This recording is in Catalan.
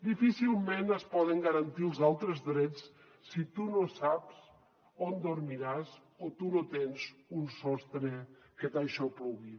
difícilment es poden garantir els altres drets si tu no saps on dormiràs o tu no tens un sostre que t’aixoplugui